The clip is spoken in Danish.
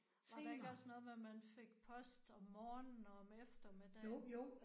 Var der ikke også noget med at man fik post om morgenen og om eftermiddagen